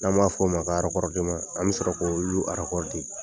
N'an ba f'o ma ko arakɔrɔdeman . An bi sɔrɔ k'olu arakɔrɔde.